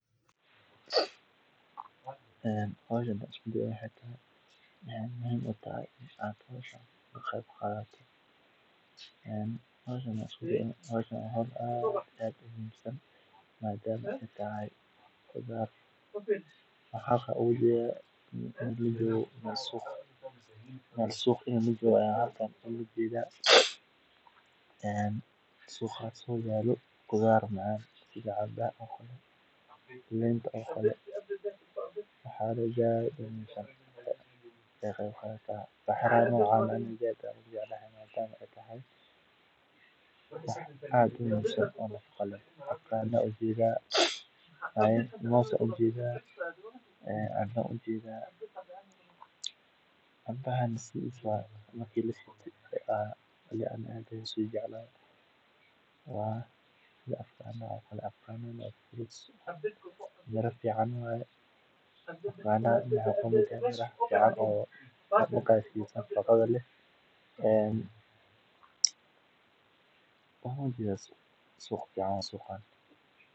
howshu waxay bulshada ka caawisaa horumarka, iyadoo si wadajir ah loo xallin karo dhibaatooyinka jira, lana hirgelin karo horumar waara. Intaa waxaa dheer, dadku waxay helaan fursado ay ku horumariyaan xirfadahooda, ku dhisaan kalsoonida naftooda, iyo inay dareemaan inay yihiin qayb muhiim ah oo ka tirsan bulshada. Marka la eego dhammaan arrimahaas, waa cadahay in howshu ay leedahay faa’iidooyin badan oo bulshada ka dhigaya mid midaysan, hormarsan, oo firfircoon.